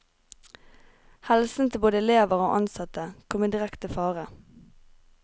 Helsen til både elever og ansatte kom i direkte fare.